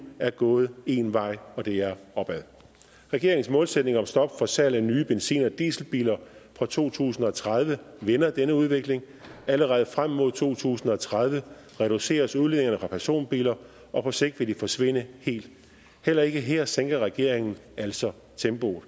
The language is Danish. er gået én vej og det er opad regeringens målsætning om stop for salg af nye benzin og dieselbiler fra to tusind og tredive vender denne udvikling allerede frem mod to tusind og tredive reduceres udledningerne fra personbiler og på sigt vil de forsvinde helt heller ikke her sænker regeringen altså tempoet